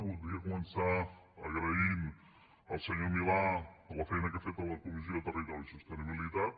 voldria començar agraint al senyor milà la feina que ha fet a la comissió de territori i sostenibilitat